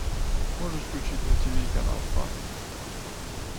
можешь включить на тиви канал фан